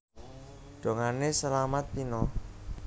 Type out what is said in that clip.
Dongané Selamat pina